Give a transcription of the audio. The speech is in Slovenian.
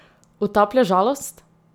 Utaplja žalost?